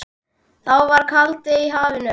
Þá var kaldi í hafinu.